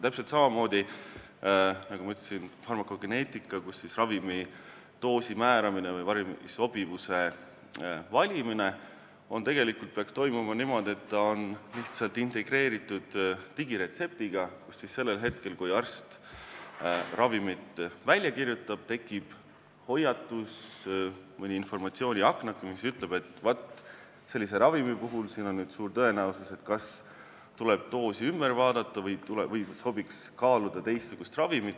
Täpselt samamoodi, nagu ma ütlesin, farmakogeneetika, kus ravimi doosi määramine või ravimi sobivuse valimine peaks tegelikult toimuma niimoodi, et see on lihtsalt integreeritud digiretseptiga, mille kohta sellel hetkel, kui arst ravimit välja kirjutab, tekib hoiatus, mõni informatsiooniaknake, mis ütleb, et vaat, sellise ravimi puhul on suur tõenäosus, et tuleb kas doos ümber vaadata või tasuks kaaluda teistsugust ravimit.